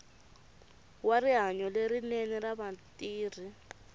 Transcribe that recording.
wa rihanyo lerinene ra vatirhi